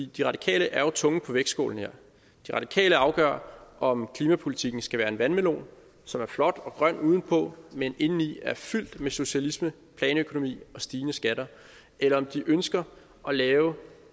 de radikale er jo tungen på vægtskålen her de radikale afgør om klimapolitikken skal være en vandmelon som er flot og grøn udenpå men indeni er fyldt med socialisme planøkonomi og stigende skatter eller om de ønsker at lave